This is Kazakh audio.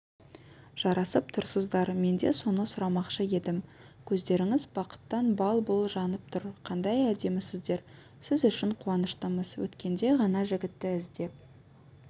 жарасып тұрсыздар мен де соны сұрамақшы едім көздеріңіз бақыттан бал-бұл жанып тұр қандай әдемісіздер сіз үшін қуаныштымыз өткенде ғана жігітті іздеп